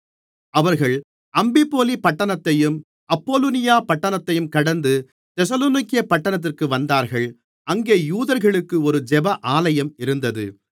அவர்கள் அம்பிபோலி பட்டணத்தையும் அப்பொலோனியா பட்டணத்தையும் கடந்து தெசலோனிக்கே பட்டணத்திற்கு வந்தார்கள் அங்கே யூதர்களுக்கு ஒரு ஜெப ஆலயம் இருந்தது